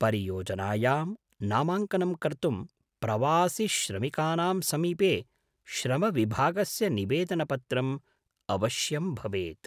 परियोजनायां नामाङ्कनं कर्तुं प्रवासिश्रमिकानां समीपे श्रमविभागस्य निवेदनपत्रं अवश्यं भवेत्।